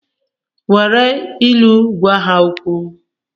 Nwere ilu gwa ha okwu!